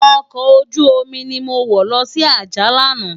Òkò ójùómi ni mó wò lòsi Ajah làná